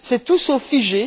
C'est tout sauf figé.